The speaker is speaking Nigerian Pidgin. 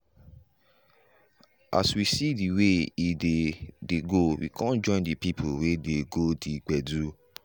as we see de way e dey dey go we come join the people wey dey go the gbedu.